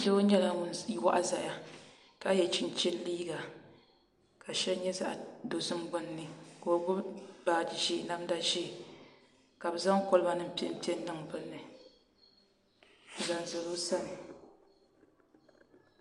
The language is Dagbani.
Doo nyɛla ŋun waɣa ʒɛya ka yɛ chinchin liiga ka shɛli nyɛ zaɣ dozim gbunni ka o gbubi baaji ʒiɛ namda ʒiɛ ka bi zaŋ kolba nim piɛpiɛ n niŋ dinni n zaŋ zali o sani